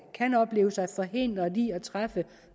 kan opleve sig forhindret i at træffe